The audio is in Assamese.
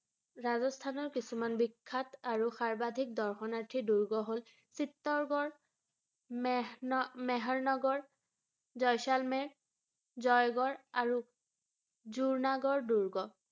ৰাজস্থানৰ কিছুমান বিখ্যাত আৰু সৰ্ব্বাধিক দৰ্শনাৰ্থীৰ দুৰ্গ হ’ল চিত্তোৰগড়, মেহন~ মেহৰনগৰ, জইছালমেৰ, জয়গড় আৰু দুৰ্নাগড় দুৰ্গ ৷